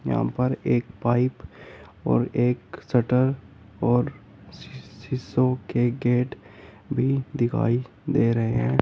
यहां पर एक पाइप और एक शटर और शी-शी-शीशों के गेट भी दिखाई दे रहे हैं।